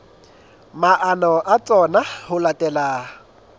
maano a tsona ho latela